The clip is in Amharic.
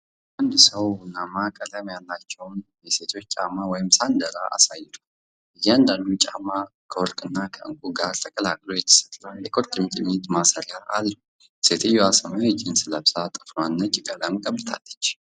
አንድ ሰው ቡናማ ቀለም ያላቸውን የሴቶች ጫማዎች (ሳንዳል) አሳይቷል። እያንዳንዱ ጫማ ከወርቅ እና ከዕንቁ ጋር ተቀላቅሎ የተሠራ የቁርጭምጭሚት ማሰሪያ አለው። ሴትየዋ ሰማያዊ ጂንስ ለብሳ ጥፍሯን ነጭ ቀለም ቀብታለች።